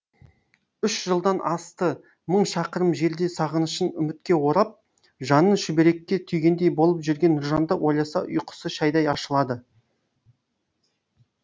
үш жылдан асты мың шақырым жерде сағынышын үмітке орап жанын шүберекке түйгендей болып жүрген нұржанды ойласа ұйқысы шайдай ашылады